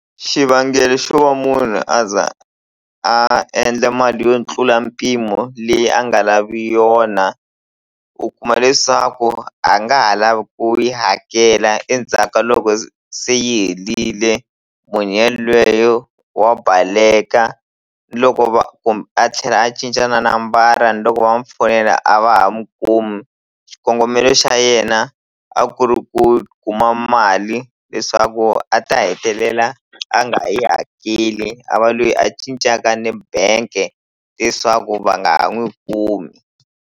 Xivangelo xo va munhu a za a endla mali yo tlula mpimo leyi a nga lavi yona u kuma leswaku a nga ha lavi ku yi hakela endzhaka loko se yi helile munhu yalweyo wa baleka loko va kumbe a tlhela a cinca na nambara ni loko va n'wi fonela a va ha mu kumi xikongomelo xa yena a ku ri ku kuma mali leswaku a ta hetelela a nga yi hakeli a va lweyi a cincaka ni bank-e leswaku va nga ha n'wi kumi.